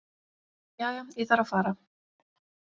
Jæja, ég þarf að fara.